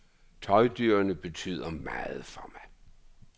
Tøjdyrene betyder meget for mig.